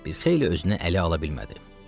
Bir xeyli özünü ələ ala bilmədi.